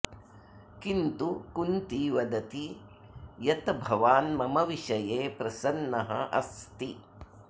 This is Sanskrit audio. किन्तु कुन्ती वदति यत भवान् मम विषये प्रसन्नः अस्ति